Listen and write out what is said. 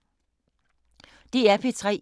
DR P3